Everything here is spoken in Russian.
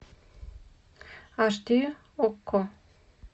аш ди окко